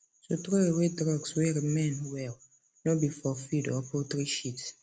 to throw away drugs way remain well no be for feed or poultry shit